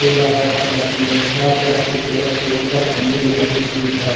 Table red colour की है red colour की टेबल के ऊपर कंडील रखी हुई है।